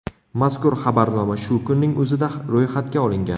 Mazkur xabarnoma shu kunning o‘zida ro‘yxatga olingan.